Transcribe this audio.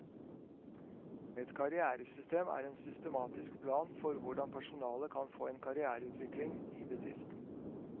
Et karrieresystem er en systematisk plan for hvordan personale kan få en karriereutvikling i bedriften.